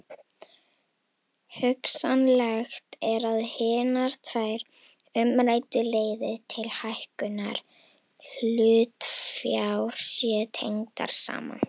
Hugsanlegt er að hinar tvær umræddu leiðir til hækkunar hlutafjár séu tengdar saman.